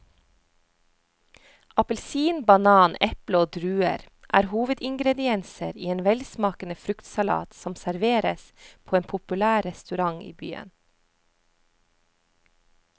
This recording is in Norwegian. Appelsin, banan, eple og druer er hovedingredienser i en velsmakende fruktsalat som serveres på en populær restaurant i byen.